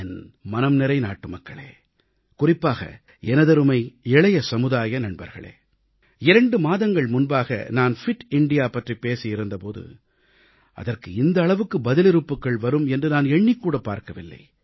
என் மனம்நிறைந்த நாட்டுமக்களே குறிப்பாக எனதருமை இளைய சமுதாய நண்பர்களே இரண்டு மாதங்கள் முன்பாக நான் ஃபிட் இந்தியா பிட் இந்தியா பற்றிப் பேசியிருந்த போது அதற்கு இந்த அளவுக்கு பதிலிறுப்புகள் வரும் என்று நான் எண்ணிக்கூடப் பார்க்கவில்லை